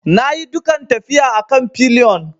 Na yi dukan tafiya a kan pillion.